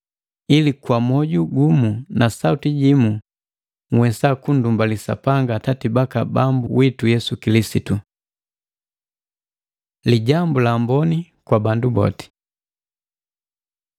ili kwa moju gumu na sauti jimu nhwesa kundumbali Sapanga Atati baka Bambu witu Yesu Kilisitu. Lijambu la Amboni kwa bandu boti